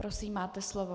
Prosím, máte slovo.